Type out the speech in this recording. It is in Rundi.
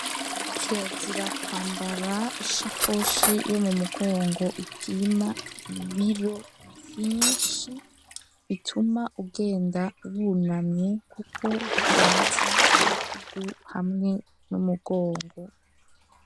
Kirazira kwambara, ishakoshi, yo mu mugongo, ipima ibiro vyinshi, bituma ugenda wunamye, kuko bigwaza mu bitugu, hamwe n'umugongo.